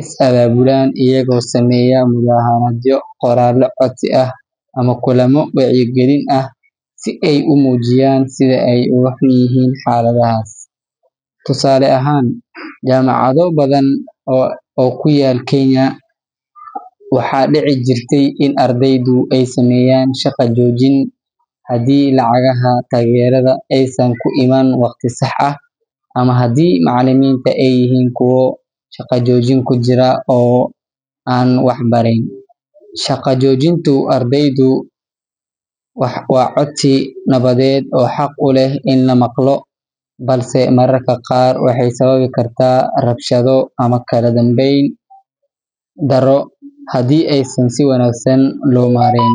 is abaabulaan iyagoo sameeya mudaharaadyo, qoraallo codsi ah, ama kulamo wacyigelin ah si ay u muujiyaan sida ay uga xun yihiin xaaladahaas. Tusaale ahaan, jaamacado badan oo ku yaal Kenya, waxaa dhici jirtay in ardaydu ay sameeyaan shaqo joojin haddii lacagaha taageerada aysan ku imaan waqti sax ah ama haddii macallimiinta ay yihiin kuwo shaqo joojin ku jira oo aan wax barayn. Shaqo joojinta ardaydu waa codsi nabadeed oo xaq u leh in la maqlo, balse mararka qaar waxay sababi kartaa rabshado ama kala dambeyn darro haddii aysan si wanaagsan loo maarayn.